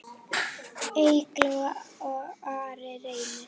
Eygló og Ari Reynir.